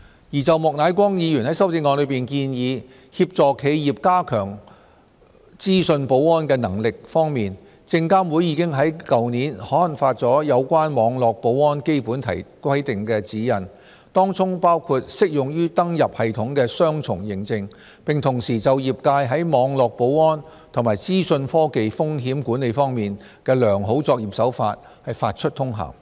關於莫乃光議員在修正案中建議協助企業加強資訊保安的能力，證監會已於去年刊發有關網絡保安基本規定的指引，當中包括適用於登入系統的雙重認證，並同時就業界在網絡保安及資訊科技風險管理方面的良好作業手法發出通函。